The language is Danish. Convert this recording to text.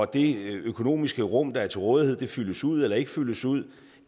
det økonomiske rum der er til rådighed fyldes ud eller ikke fyldes ud